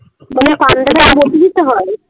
হয়